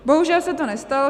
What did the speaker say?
Bohužel se to nestalo.